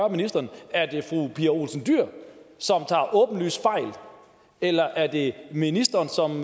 ministeren er det fru pia olsen dyhr som tager åbenlyst fejl eller er det ministeren som